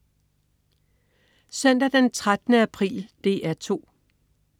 Søndag den 13. april - DR 2: